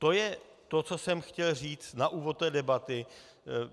To je to, co jsem chtěl říct na úvod té debaty.